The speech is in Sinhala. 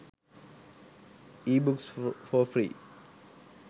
ebooks for free